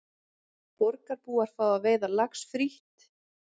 Borgarbúar fá að veiða lax frítt